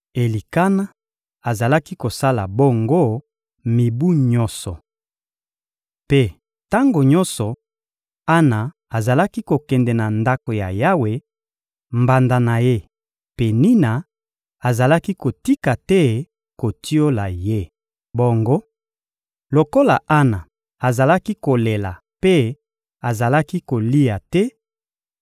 Elikana azalaki kosala bongo mibu nyonso. Mpe tango nyonso Ana azalaki kokende na Ndako ya Yawe, mbanda na ye, Penina, azalaki kotika te kotiola ye. Bongo, lokola Ana azalaki kolela mpe azalaki kolia te,